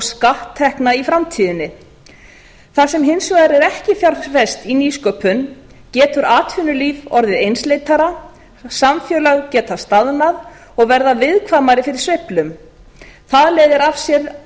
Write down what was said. skatttekna í framtíðinni það sem hins vegar er ekki fjárfest í nýsköpun getur atvinnulíf orðið einsleitara samfélög geta staðnað og orðið viðkvæmari fyrir sveiflum það leiðir af sér